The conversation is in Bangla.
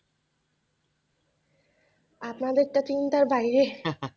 আপনাদের তো চিন্তার বাইরে,